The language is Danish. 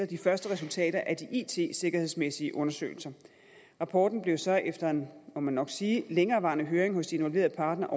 de første resultater af de it sikkerhedsmæssige undersøgelser rapporten blev så efter må man nok sige en længerevarende høring hos de involverede parter